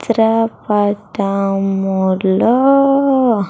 చిత్ర పటం లో.